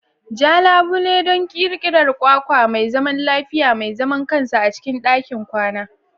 Ja labule don ƙirƙirar kwakwa mai zaman lafiya, mai zaman kansa a cikin ɗakin kwana.